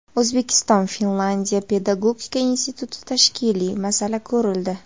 O‘zbekiston-Finlyandiya pedagogika institutida tashkiliy masala ko‘rildi.